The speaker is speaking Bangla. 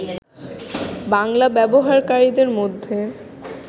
বাংলা ব্যবহারকারীদের মধ্যে